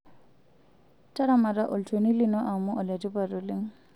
Taramata olchoni lino amu ole tipat oleng'.